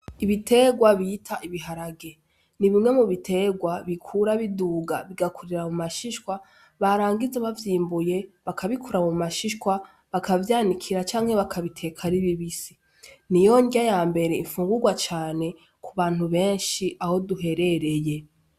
Ibiterwa bita ibiharage ni bimwe mu biterwa bikura biduga bigakurira mu mashishwa barangize bavyimbuye bakabikura mu mashishwa bakavyanikira canke bakabiteka ribibisi ni yondya ya mbere imfungurwa cane ku bantu benshi aho duherereye.